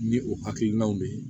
Ni o hakilinaw de ye